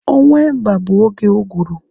Ọnwa Emba bụ oge uguru